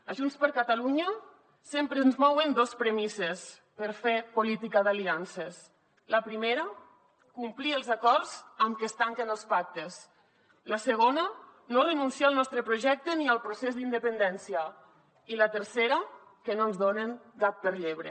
a junts per catalunya sempre ens mouen dos premisses per fer política d’aliances la primera complir els acords amb què es tanquen els pactes la segona no renunciar al nostre projecte ni al procés d’independència i la tercera que no ens donen gat per llebre